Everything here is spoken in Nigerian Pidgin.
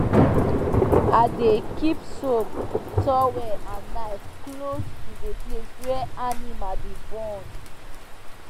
i dey keep soap towel and knife close to the place wey animal dey born